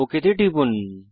okay তে টিপুন